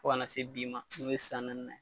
Fɔ kana se bi ma i bɛ san naani na.